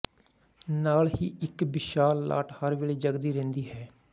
ਨਾਲ ਹੀ ਇੱਕ ਵਿਸ਼ਾਲ ਲਾਟ ਹਰ ਵੇਲੇ ਜਗਦੀ ਰਹਿੰਦੀ ਹੈ